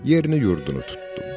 Yerini-yurdunu tutdum.